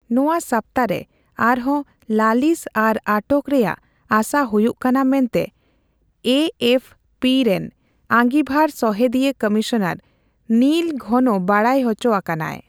ᱱᱚᱣᱟ ᱥᱟᱯᱛᱟ ᱨᱮ ᱟᱨᱦᱚᱸ ᱞᱟᱹᱞᱤᱥ ᱟᱨ ᱟᱴᱚᱠ ᱨᱮᱭᱟᱜ ᱟᱥᱟ ᱦᱩᱭᱩᱜ ᱠᱟᱱᱟ ᱢᱮᱱᱛᱮ ᱮᱯᱷᱯᱤ ᱨᱮᱱ ᱟᱸᱜᱤᱵᱷᱟᱨ ᱥᱚᱦᱮᱫᱤᱭᱟᱹ ᱠᱚᱢᱤᱥᱚᱱᱟᱨ ᱱᱤᱞ ᱜᱷᱚᱱᱚ ᱵᱟᱰᱟᱭ ᱚᱪᱳᱟᱠᱟᱱᱟᱭ ᱾